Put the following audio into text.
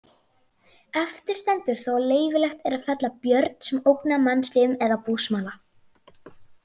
Eftir stendur þó að leyfilegt er að fella björn sem ógnar mannslífum eða búsmala.